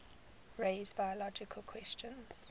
raise biological questions